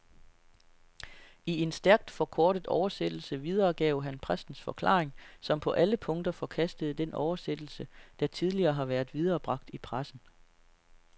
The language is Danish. I en stærkt forkortet oversættelse videregav han præstens forklaring, som på alle punkter forkastede den oversættelse, der tidligere har været viderebragt i pressen.